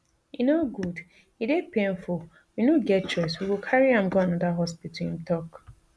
e no good e dey painful we no get choice we go carry am go anoda hospital im tok